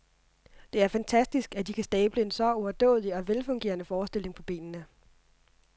Det er fantastisk at de kan stable en så overdådig og velfungerende forestilling på benene.